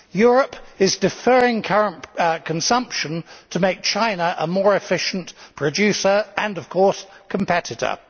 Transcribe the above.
Europe is deferring current consumption to make China a more efficient producer and of course competitor.